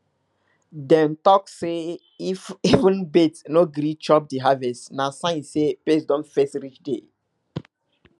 dem dey talk say if even bird no gree chop the harvest na sign say pest don first reach there